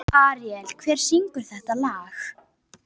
Aríela, hver syngur þetta lag?